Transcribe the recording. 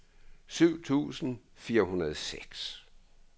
syv tusind fire hundrede og seks